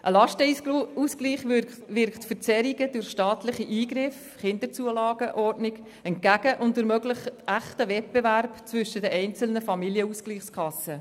Ein Lastenausgleich wirkt Verzerrungen durch staatliche Eingriffe entgegen und ermöglicht einen echten Wettbewerb zwischen den einzelnen Familienausgleichskassen.